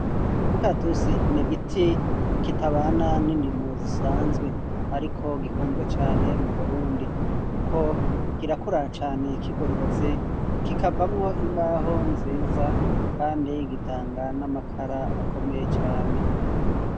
Umukaratusi n'igiti kitabana n'indimo zisanzwe ariko gikunzwe cane mu Burundi kuko kirakura cane kigororotse kikavamwo imbaho nziza kandi gitanga n'amakara akomeye cane.